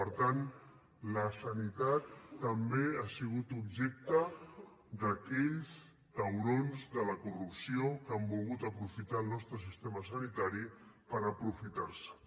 per tant la sanitat també ha sigut objecte d’aquells taurons de la corrupció que han volgut aprofitar el nostre sistema sanitari per aprofitar se’n